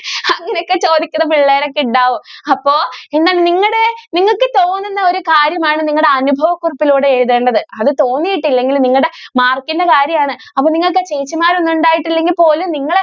അങ്ങനെ ഒക്കെ ചോദിക്കുന്ന പിള്ളേരൊക്കെ ഉണ്ടാകും അപ്പൊ നിങ്ങൾ നിങ്ങളുടെ നിങ്ങൾക്ക് തോന്നുന്ന ഒരു കാര്യം ആണ് അനുഭവ കുറിപ്പിലൂടെ എഴുതേണ്ടത് അത് തോന്നിയിട്ടില്ലെങ്കിൽ നിങ്ങളുടെ mark ന്റെ കാര്യം ആണ് അത് നിങ്ങൾക്ക് ചേച്ചിമാരൊക്കെ ഉണ്ടായിട്ട് ഇല്ലാ എങ്കിൽ പോലും